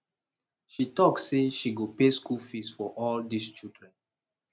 she talk say she go pay school fees for all dis children